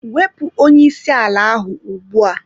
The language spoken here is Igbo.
Wepụ onye isi ala ahụ ugbu a!